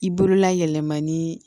I bolola yɛlɛma ni